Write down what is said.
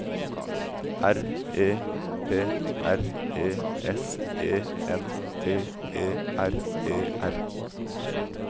R E P R E S E N T E R E R